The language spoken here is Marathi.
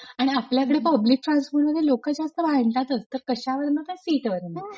आणि आपल्याकडे पब्लिक ट्रान्सपोर्ट मध्ये लोक जास्त भांडतांतच कशावरन तर सीटवरण.